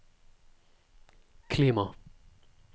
klima